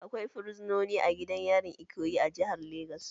Akwai fursunoni a gidan yarin Ikoyi a jihar Legas